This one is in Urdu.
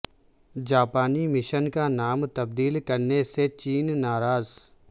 جاپانی مشن کا نام تبدیل کرنے سے چین ناراض